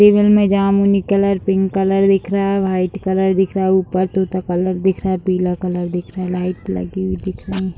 में जमुनी colour pink colour दिख रहा है वाइट कलर दिख रहा है ऊपर तोता कलर दिख रहा है पीला कलर दिख रहा है लाइट्स लगी हुई दिख रहीं हैं।